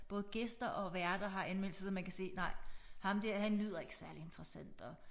Både gæster og værter har anmeldelser så man kan se nej ham der han lyder ikke særlig interessant og